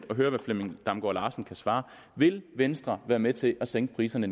hvad herre flemming damgaard larsen svarer vil venstre være med til at sænke priserne